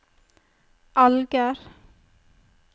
Alger